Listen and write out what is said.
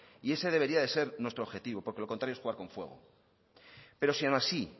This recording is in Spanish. y ese debería ser nuestro objetivo porque lo contrario es jugar con fuego pero si aun así